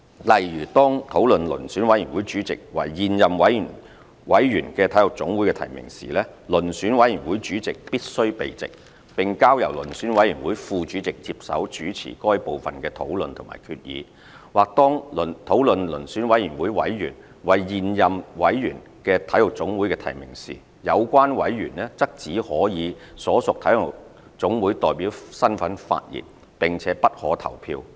例如，當討論遴選委員會主席為現任委員的體育總會的提名時，遴選委員會主席必須避席，並交由遴選委員會副主席接手主持該部分的討論和決議；或當討論遴選委員會委員為現任委員的體育總會的提名時，有關委員則只可以所屬體育總會代表身份發言，並且不可投票。